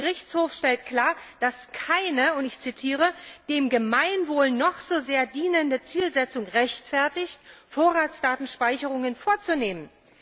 Der Gerichtshof stellt klar, dass keine und ich zitiere dem Gemeinwohl noch so sehr dienende Zielsetzung rechtfertigt, Vorratsdatenspeicherungen vorzunehmen.